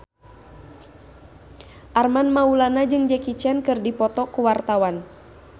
Armand Maulana jeung Jackie Chan keur dipoto ku wartawan